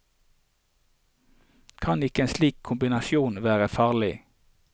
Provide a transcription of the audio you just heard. Kan ikke en slik kombinasjon være farlig?